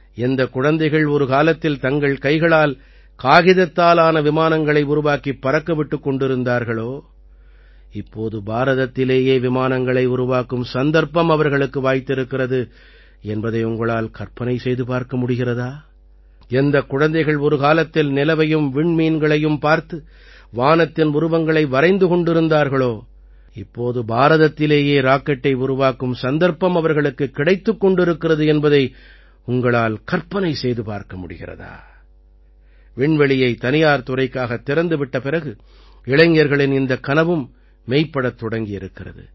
எந்தக் குழந்தைகள் ஒரு காலத்தில் தங்கள் கைகளால் காகிதத்தால் ஆன விமானங்களை உருவாக்கிப் பறக்க விட்டுக் கொண்டிருந்தார்களோ இப்போது பாரதத்திலேயே விமானங்களை உருவாக்கும் சந்தர்ப்பம் அவர்களுக்கு வாய்த்திருக்கிறது என்பதை உங்களால் கற்பனை செய்து பார்க்க முடிகிறதா எந்தக் குழந்தைகள் ஒருகாலத்தில் நிலவையும் விண்மீன்களையும் பார்த்து வானத்தின் உருவங்களை வரைந்து கொண்டிருந்தார்களோ இப்போது பாரதத்திலேயே ராக்கெட்டை உருவாக்கும் சந்தர்ப்பம் அவர்களுக்குக் கிடைத்துக் கொண்டிருக்கிறது என்பதை உங்களால் கற்பனை செய்து பார்க்க முடிகிறதா விண்வெளியை தனியார் துறைக்காகத் திறந்து விட்ட பிறகு இளைஞர்களின் இந்தக் கனவும் மெய்ப்படத் தொடங்கி இருக்கிறது